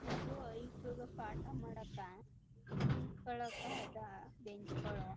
ಇದು ಐಕಾಲುಗೆ ಪಾಠ ಮಾಡಕ್ಕ ಕುಂತ್ಕೊಳಕ್ಕ ಅದ ಬೆಂಚ್ಗಳು --